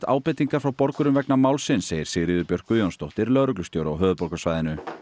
ábendingar frá borgurum vegna málsins segir Sigríður Björk Guðjónsdóttir lögreglustjóri á höfuðborgarsvæðinu